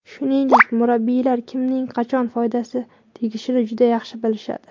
Shuningdek, murabbiylar kimning qachon foydasi tegishini juda yaxshi bilishadi.